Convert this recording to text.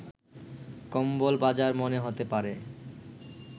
কম্বল বাজার মনে হতে পারে